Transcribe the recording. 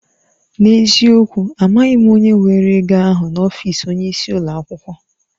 N'eziokwu! Amaghị m onye were ego ahụ n'ọfịs onyeisi ụlọ akwụkwọ.